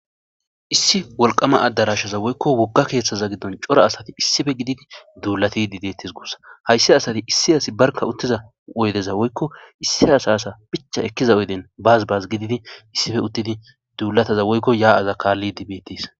issi wolqama addarashaza woykko wogga keeththaza giddon cora asati issife gididi duulati dibeetis guussa hayssi asati issi asi barka uttiza oydeza woykko issi asaasa picha ekkiza oyden bazibaz gididi issife uttidi duulataza woykko yaa'aza kaalli dibettis.